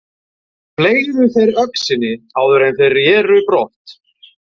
Fleygðu þeir öxinni áður en þeir reru brott.